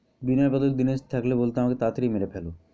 বিনয় বাদল দীনেশ থাকলে বলতো আমাকে তাড়া তাড়ি মেরে ফেলো।